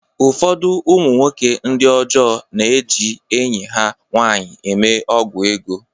Ụfọdụ ụmụ nwoke ndi ọjọọ na-eji enyi ha nwanyị eme ọgwụ ego.